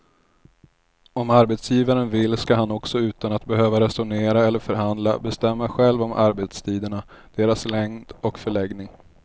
Om arbetsgivaren vill ska han också utan att behöva resonera eller förhandla bestämma själv om arbetstiderna, deras längd och förläggning.